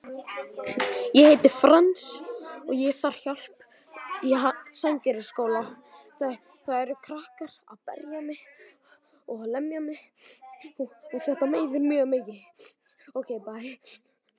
Lilla leit á klukkuna frammi í eldhúsi.